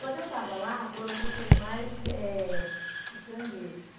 Quando eu estava lá, foram pessoas mais eh estrangeiras.